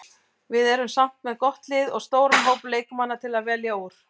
Við erum samt með gott lið og stóran hóp leikmanna til að velja úr.